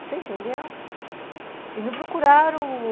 Você entendeu? E não procuraram o ...